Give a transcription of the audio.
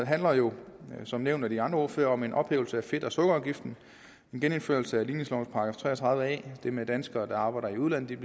handler jo som nævnt af de andre ordførere om en ophævelse af fedt og sukkerafgiften en genindførelse af ligningslovens § tre og tredive a det med at danskere der arbejder i udlandet